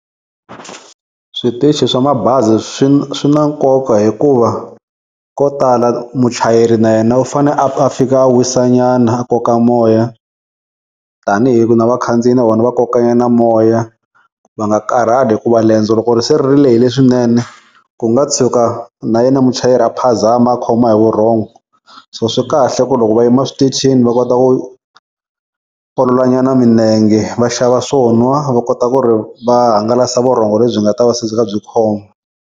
Switichi swa mabazi swi na nkoka hikuva ko tala muchayeri na yena u fane a a fika a wisa nyana a koka moya, tanihi ku na vakhandziyi na vona va koka nyana moya, va nga karhali hikuva liendzo loko ri se ri lehile swinene ku nga tshuka na yena muchayeri a phazama a khoma hi vurhongo so swi kahle ku loko va yima switichini va kota ku olola nyana minenge va xava swo nwa va kota ku ri va hangalasa vurhongo lebyi nga ta va se byi kha byi khoma.